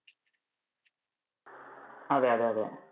അതെ അതെ അതെ.